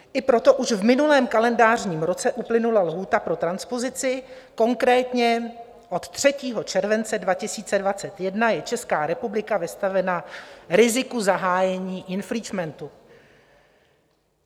I proto už v minulém kalendářním roce uplynula lhůta pro transpozici, konkrétně od 3. července 2021 je Česká republika vystavena riziku zahájení infringementu.